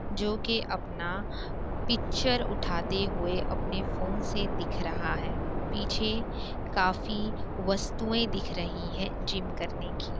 जो की अपना पिक्चर उठाते हुए अपने फ़ोन से दिख रहा है। पीछे काफी वस्तुएं दिख रही है जिम करने की।